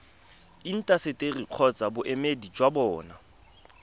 intaseteri kgotsa boemedi jwa bona